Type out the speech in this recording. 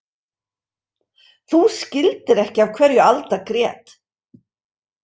Þú skildir ekki af hverju Alda grét.